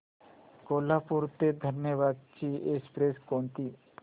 कोल्हापूर ते धनबाद ची एक्स्प्रेस कोणती